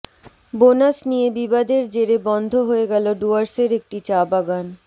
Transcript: bonus নিয়ে বিবাদের জেরে বন্ধ হয়ে গেল ডুয়ার্সের একটি চা বাগান